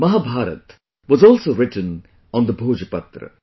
Mahabharata was also written on the Bhojpatra